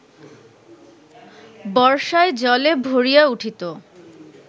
বর্ষায় জলে ভরিয়া উঠিত